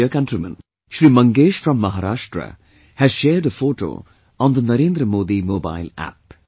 My dear countrymen, Shri Mangesh from Maharashtra has shared a photo on the Narendra Modi Mobile App